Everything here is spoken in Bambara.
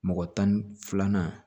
Mɔgɔ tan ni filanan